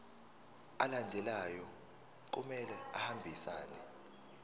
alandelayo kumele ahambisane